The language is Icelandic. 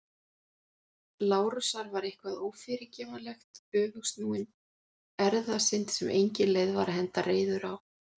Lárusar var eitthvað ófyrirgefanlegt- öfugsnúin erfðasynd sem engin leið var að henda reiður á.